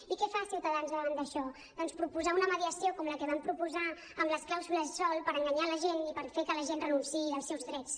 i què fa ciutadans davant d’això doncs proposar una mediació com la que van proposar amb les clàusules sòl per enganyar la gent i fer que la gent renunciï als seus drets